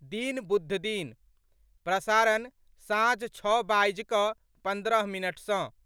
दिन, बुधदिन, प्रसारण, साँझ छओ बाजि कऽ पन्द्रह मिनट सँ